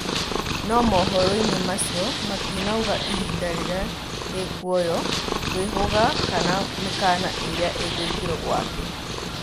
No mohoro-inĩ macĩo matĩnaũga ihinda rĩrĩa rĩkũoywo, kwĩhuga kana mĩkana ĩrĩa ĩgwĩkĩrwo gwake